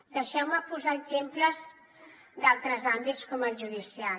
deixeu me posar exemples d’altres àmbits com el judicial